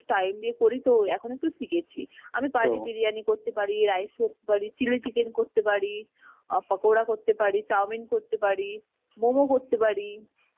time দিয়ে করি তো এখন একটু শিখেছি, আমি বিরিয়ানি করতে, rice করতে পারি chillie chicken করতে পারি আ পকরা করতে পারি, চাওমিন করতে পারি, momo করতে পারি